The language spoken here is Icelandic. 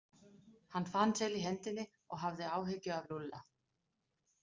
Hann fann til í hendinni og hafði áhyggjur af Lúlla.